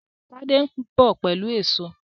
Tade nbọ pẹlú Èṣó